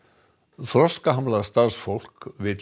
þroskahamlað starfsfólk vill